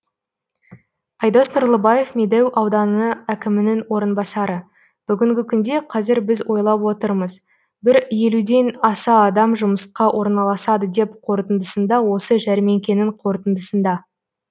айдос нұрлыбаев медеу ауданы әкімінің орынбасары бүгінгі күнде қазір біз ойлап отырмыз бір елуден аса адам жұмысқа орналасады деп қорытындысында осы жәрмеңкенің қорытындысында